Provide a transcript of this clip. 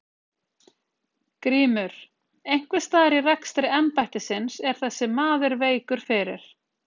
GRÍMUR: Einhvers staðar í rekstri embættisins er þessi maður veikur fyrir.